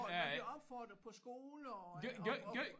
De bliver opfordret på skoler og og